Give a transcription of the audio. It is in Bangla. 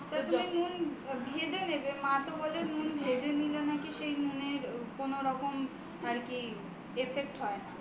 তা তুমি নুন ভেজে নেবে মা তো বলে নুন ভেজে নিলে সেই নুনের কোন রকম আর কি এফেক্ট হয় না